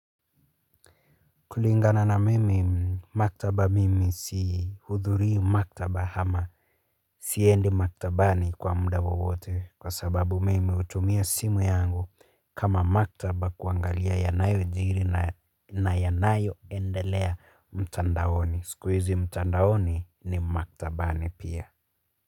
Kulingana na mimi, maktaba mimi sihudhuri maktaba hama. Siendi maktabaani kwa mda wowote kwa sababu mimi utumia simu yangu kama maktaba kuangalia yanayojiri na yanayoendelea mtandaoni. Sikuizi mtandaoni ni maktabaani pia.